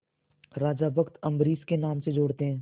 राजा भक्त अम्बरीश के नाम से जोड़ते हैं